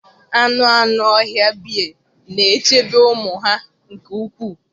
Anụ anụ ọhịa bea na-echebe ụmụ ha nke ukwuu